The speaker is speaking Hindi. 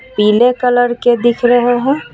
पिले कलर के दिख रहे हे.